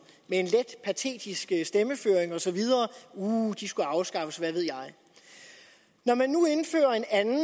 med en let patetisk stemmeføring og så videre uhh de skulle afskaffes og hvad ved jeg når man nu indfører en anden